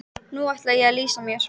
Nú ætla ég að lýsa mér.